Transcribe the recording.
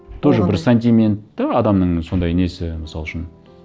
тоже бір сантимент те адамның сондай несі мысал үшін